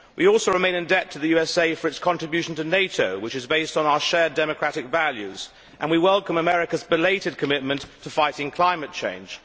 We also remain in debt to the USA for its contribution to NATO, which is based on our shared democratic values, and we welcome America's belated commitment to fighting climate change.